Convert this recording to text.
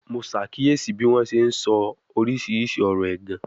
Mo ṣàkíyèsí bí wọ́n ṣe ń sọ oríṣiríṣi ọ̀rọ̀ ẹ̀gàn